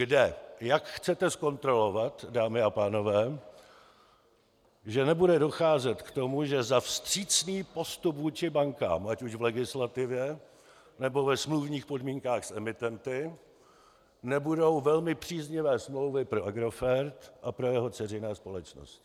Kde, jak chcete zkontrolovat, dámy a pánové, že nebude docházet k tomu, že za vstřícný postup vůči bankám, ať už v legislativě, nebo ve smluvních podmínkách s emitenty, nebudou velmi příznivé smlouvy pro Agrofert a pro jeho dceřiné společnosti?